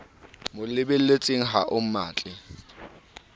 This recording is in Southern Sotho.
mo lebelletseng ha o mmatle